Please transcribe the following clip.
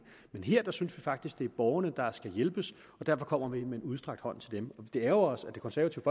men her synes vi faktisk det er borgerne der skal hjælpes og derfor kommer vi med en udstrakt hånd til dem det ærgrer os at det konservative